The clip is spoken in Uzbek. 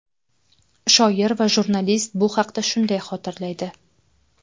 Shoir va jurnalist bu haqda shunday xotirlaydi .